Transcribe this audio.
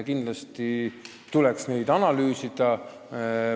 Kindlasti tuleks neid analüüsida.